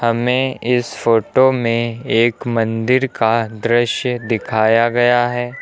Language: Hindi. हमें इस फोटो में एक मंदिर का दृश्य दिखाया गया है।